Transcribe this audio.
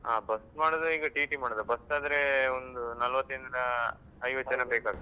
ಹಾ bus ಮಾಡುದಾ ಈಗ TT ಮಾಡುದಾ? bus ಆದ್ರೆ ಒಂದು ನಲ್ವತ್ರಿನ್ದ ಐವತ್ತು ಜನ ಬೇಕಾಗ್ತದೆ.